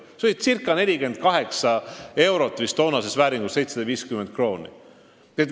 See tõus oli ca 48 eurot, toonases vääringus vist 750 krooni.